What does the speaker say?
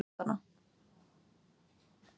Fleygði pappaspjaldinu frá sér og tók til fótanna.